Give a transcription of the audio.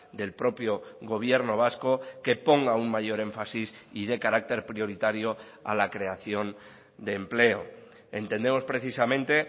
del propio gobierno vasco que ponga un mayor énfasis y dé carácter prioritario a la creación de empleo entendemos precisamente